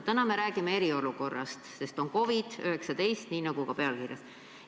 Täna me räägime eriolukorrast, sest meil on COVID-19, nii nagu ka pealkirjas on öeldud.